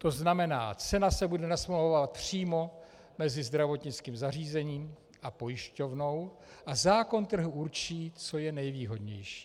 To znamená, cena se bude nasmlouvávat přímo mezi zdravotnickým zařízením a pojišťovnou a zákon trhu určí, co je nejvýhodnější.